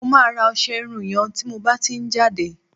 mo ma ra ọsẹ Irun yen ti mo ba ti n jade